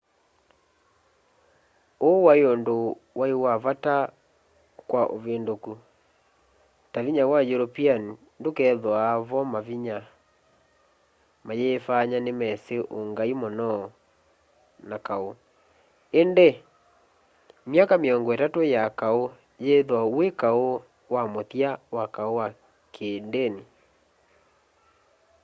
uu wai undu wai vata kwa uvinduku ta vinya wa european ndukethwaa vo mayifanya nimesi ungai muno na kau indi myaka miongo itatu ya kau yithwa wi kau wa muthya wa kau wa kiindini